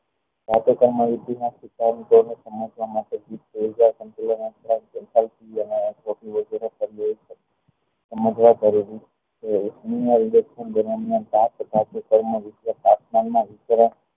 ધાતુક્ર્ણ માં